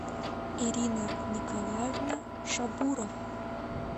ирина николаевна шабурова